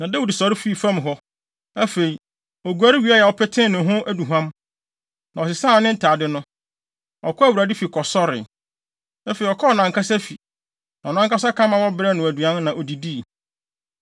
Na Dawid sɔre fii fam hɔ. Afei, oguare wiee a ɔpetee ne ho aduhuam, na ɔsesaa ne ntade no, ɔkɔɔ Awurade fi kɔsɔree. Afei, ɔkɔɔ nʼankasa fi, na ɔno ankasa ka ma wɔbrɛɛ no aduan, na odidii.